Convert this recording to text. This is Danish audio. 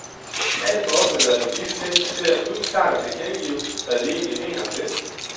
Alt for ofte lader vi disse ting passere uden klart at tilkendegive, hvad vi egentlig mener om det.